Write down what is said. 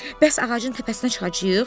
Bəs ağacın təpəsinə çıxacağıq?